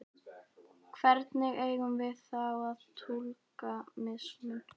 Hvernig eigum við þá að túlka mismun?